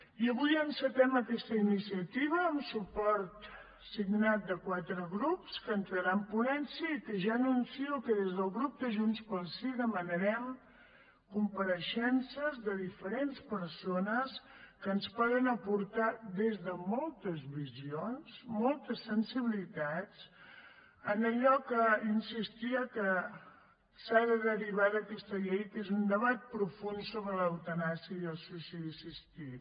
i avui encetem aquesta iniciativa amb suport signat de quatre grups que entrarà en ponència i que ja anuncio que des del grup de junts pel sí demanarem compareixences de diferents persones que ens poden aportar des de moltes visions moltes sensibilitats en allò que insistia que s’ha de derivar d’aquesta llei que és un debat profund sobre l’eutanàsia i el suïcidi assistit